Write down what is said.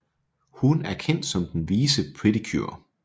Hun er kendt som den vise Pretty Cure